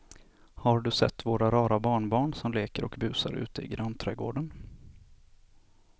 Har du sett våra rara barnbarn som leker och busar ute i grannträdgården!